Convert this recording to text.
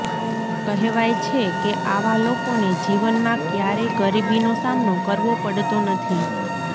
કહેવાય છે કે આવા લોકોને જીવનમાં ક્યારેય ગરીબીનો સામનો કરવો પડતો નથી